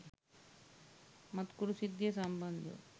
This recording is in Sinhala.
මත්කුඩු සිද්ධිය සම්බන්ධව